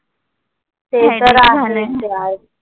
ते तर आहेच यार.